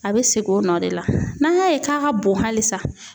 A bɛ segin o nɔ de la n'an y'a ye k'a ka bon halisa